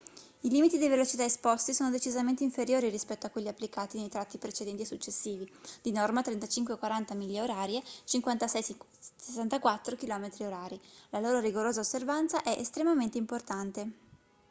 i limiti di velocità esposti sono decisamente inferiori rispetto a quelli applicati nei tratti precedenti e successivi di norma 35-40 mph / 56-64 km/h. la loro rigorosa osservanza è estremamente importante